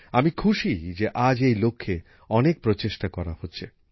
আমি খুশি যে আজ এই লক্ষ্যে অনেক প্রচেষ্টা করা হচ্ছে